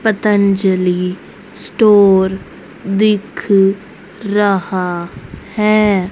Patanjali store दिख रहा है।